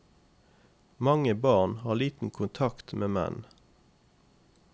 Mange barn har liten kontakt med menn.